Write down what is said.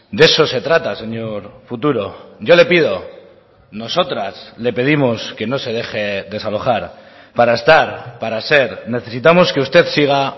de eso se trata señor futuro yo le pido nosotras le pedimos que no se deje desalojar para estar para ser necesitamos que usted siga